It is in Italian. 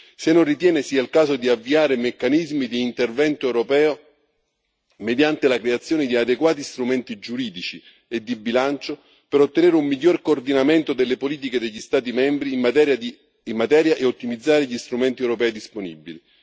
se non ritiene sia il caso di avviare meccanismi di intervento europeo mediante la creazione di adeguati strumenti giuridici e di bilancio per ottenere un miglior coordinamento delle politiche degli Stati membri in materia e ottimizzare gli strumenti europei disponibili